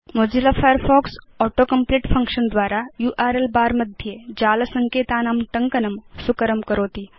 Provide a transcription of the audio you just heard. Mozilla Firefox auto complete function द्वारा URL bar मध्ये जाल सङ्केतानां टङ्कनं सुकरं करोति